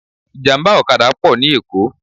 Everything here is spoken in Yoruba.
Ìjàmbá ọ̀kadà pọ̀ ní Èkó